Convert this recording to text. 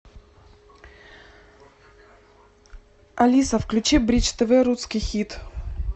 алиса включи бридж тв русский хит